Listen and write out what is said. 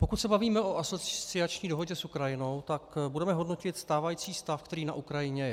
Pokud se bavíme o asociační dohodě s Ukrajinou, tak budeme hodnotit stávající stav, který na Ukrajině je.